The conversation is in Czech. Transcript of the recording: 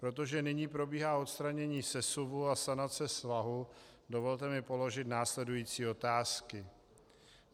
Protože nyní probíhá odstranění sesuvu a sanace svahu, dovolte mi položit následující otázky.